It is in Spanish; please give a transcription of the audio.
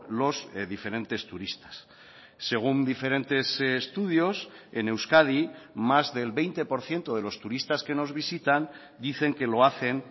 los diferentes turistas según diferentes estudios en euskadi más del veinte por ciento de los turistas que nos visitan dicen que lo hacen